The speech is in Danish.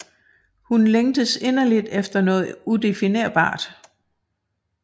Hun længes inderligt efter noget udefinerbart